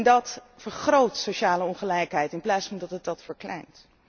Dat vergroot sociale ongelijkheid in plaats van dat het deze verkleint.